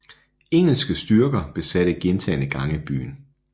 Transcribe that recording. Engelske styrker besatte gentagne gange byen